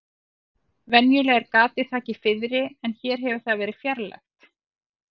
Venjulega er gatið þakið fiðri en hér hefur það verið fjarlægt.